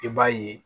I b'a ye